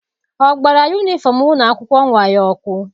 Ọ gbara yunifọm ụlọ akwụkwọ nwa ya ọkụ?